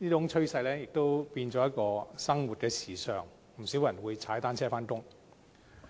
這種趨勢已經變成一種生活時尚，不少人會踏單車上班。